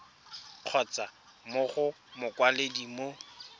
kgotsa mo go mokwaledi mo